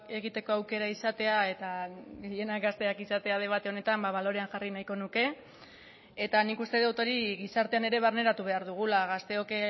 egiteko aukera izatea eta gehienak gazteak izatea debate honetan balorean jarri nahiko nuke eta nik uste dut hori gizartean ere barneratu behar dugula gazteok